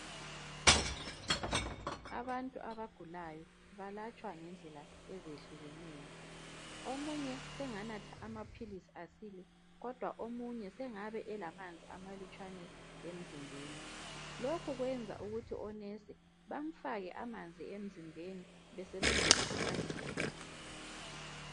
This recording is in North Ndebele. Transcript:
Abantu abagulayo balatshwa ngendlela ezehlukeneyo. Omunye senganatha amaphilisi asile, kodwa omunye sengabe elamanzi amalutshwane emzimbeni. Lokhu kwenza ukuthi onesi bamfake amanzi emzimbeni besebenzisa amadrip.